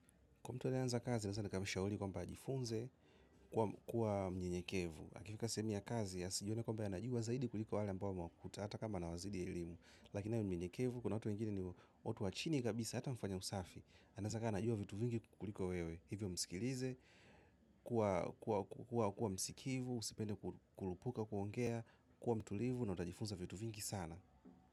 Kwa mtu aneanza kazi, nasa nakabisha uli kwa mpajifunze, kuwa mnyenyekevu. Akifika sehemu ya kazi, ya siyone kwa mpajanajua zaidi kuliko wale mpoma kutata kama na wazidi ya elimu. Lakina awe mnyenyekevu, kuna watu wengine ni watu wachini kabisa, hata mfanya usafi. Anazaka anajua vitu vingi kukuliko wewe. Hivyo msikilize, kuwa msikivu, usipende kulupuka, kuongea, kuwa mtulivu na utajifunza vitu vingi sana.